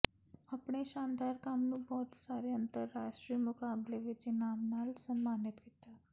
ਆਪਣੇ ਸ਼ਾਨਦਾਰ ਕੰਮ ਨੂੰ ਬਹੁਤ ਸਾਰੇ ਅੰਤਰਰਾਸ਼ਟਰੀ ਮੁਕਾਬਲੇ ਵਿੱਚ ਇਨਾਮ ਨਾਲ ਸਨਮਾਨਿਤ ਕੀਤਾ